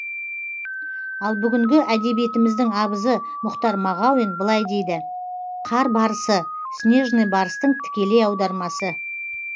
ал бүгінгі әдебиетіміздің абызы мұхтар мағауин былай дейді қар барысы снежный барстың тікелей аудармасы